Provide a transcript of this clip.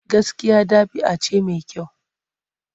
Gaskiya ɗabi'a ce mai kyau.